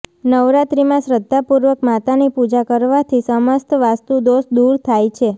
નવરાત્રિમાં શ્રદ્ધાપૂર્વક માતાની પૂજા કરવાથી સમસ્ત વાસ્તુદોષ દૂર થાય છે